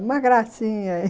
uma gracinha.